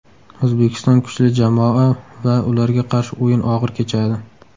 O‘zbekiston kuchli jamoa va ularga qarshi o‘yin og‘ir kechadi.